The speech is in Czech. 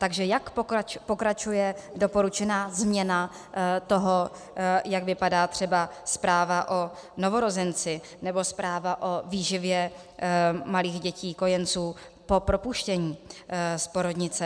Takže jak pokračuje doporučená změna toho, jak vypadá třeba zpráva o novorozenci nebo zpráva o výživě malých dětí, kojenců po propuštění z porodnice?